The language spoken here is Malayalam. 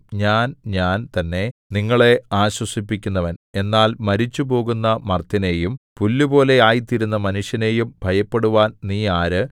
ഞാൻ ഞാൻ തന്നെ നിങ്ങളെ ആശ്വസിപ്പിക്കുന്നവൻ എന്നാൽ മരിച്ചുപോകുന്ന മർത്യനെയും പുല്ലുപോലെ ആയിത്തീരുന്ന മനുഷ്യനെയും ഭയപ്പെടുവാൻ നീ ആര്